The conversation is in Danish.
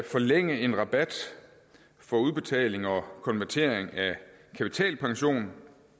forlænge en rabat for udbetaling og konvertering af kapitalpension